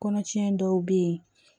Kɔnɔtiɲɛ dɔw bɛ yen